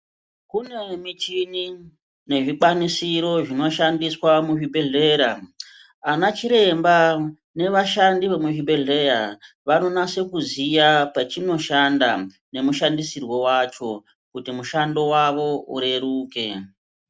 Kune michini nezvikwanisiro zvinoshandiswa muzvibhedhlera .Anachiremba nevashandi vemuchibhedhleya vanonase kuziya pachinoshanda nemushandisirwo wacho kuti mushando wavo ureruke .